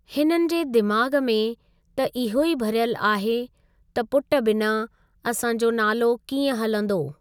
हिननि जे दिमाग़ में त इहो ई भरियलु आहे त पुटु बिना असांजो नालो कीअं हलंदो?